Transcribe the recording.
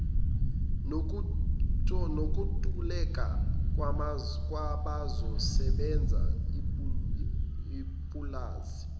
nokuntuleka kwabazosebenza ipulazi